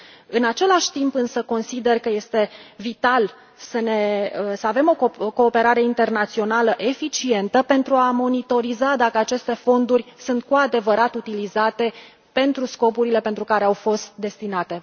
În același timp, însă, consider că este vital să avem o cooperare internațională eficientă, pentru a monitoriza dacă aceste fonduri sunt cu adevărat utilizate pentru scopurile pentru care au fost destinate.